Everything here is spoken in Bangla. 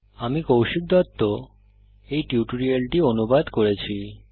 আমি কৌশিক দত্ত এই টিউটোরিয়ালটি অনুবাদ করেছি